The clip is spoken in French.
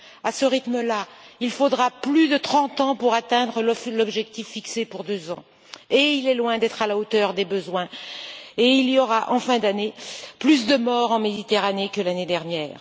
À ce rythme là, il faudra plus de 30 ans pour atteindre l'objectif fixé pour 2 ans qui est loin d'être à la hauteur des besoins et il y aura en fin d'année plus de morts en Méditerranée que l'année dernière.